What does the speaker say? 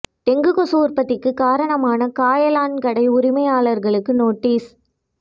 dengue கொசு உற்பத்திக்கு காரணமான காயலான் கடை உரிமையாளர்களுக்கு நோட்டீஸ்